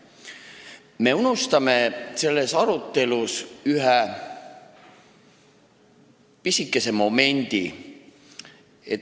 Me unustame selles arutelus ühe pisikese momendi.